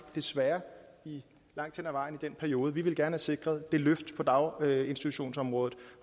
desværre langt hen ad vejen i den periode vi ville gerne have sikret et løft på daginstitutionsområdet